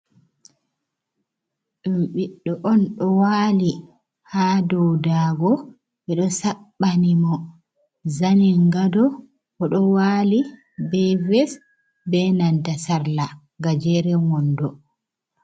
Ɗum ɓiɗɗo on ɗo wali ha dow daago, ɓeɗo saɓɓani mo zaningado, oɗo wali be ves be nanta sarla gajere wondo.